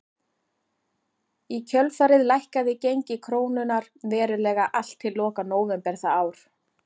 Í kjölfarið lækkaði gengi krónunnar verulega allt til loka nóvember það ár.